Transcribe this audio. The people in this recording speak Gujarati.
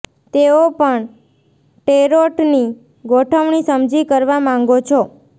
તેઓ પણ ટેરોટ ની ગોઠવણી સમજી કરવા માંગો છો